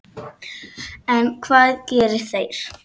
En hvað gera þeir?